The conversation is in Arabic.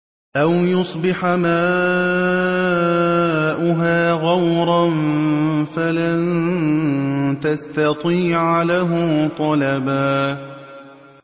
أَوْ يُصْبِحَ مَاؤُهَا غَوْرًا فَلَن تَسْتَطِيعَ لَهُ طَلَبًا